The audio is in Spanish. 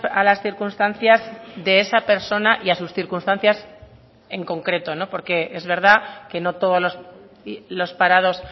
a las circunstancias de esa persona y a sus circunstancias en concreto porque es verdad que no todos los parados